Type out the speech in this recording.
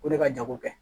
O de ka jago kɛ